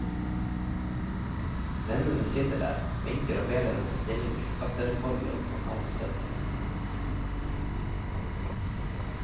Vennene sitter der, vinker og ber henne ta stilling til skattereformer og kontantstøtte.